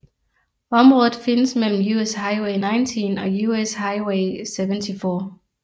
Området findes mellem US Highway 19 og US Highway 74